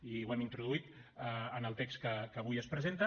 i ho hem introduït en el text que avui es presenta